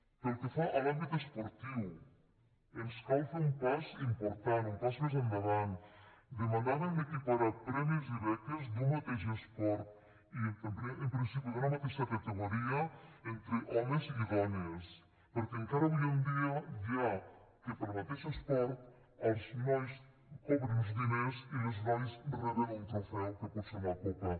pel que fa a l’àmbit esportiu ens cal fer un pas important un pas més endavant demanàvem equiparar premis i beques d’un mateix esport i en principi d’una mateixa categoria entre homes i dones perquè encara avui en dia hi ha que pel mateix esport els nois cobren uns diners i les noies reben un trofeu que pot ser una copa